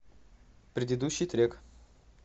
предыдущий трек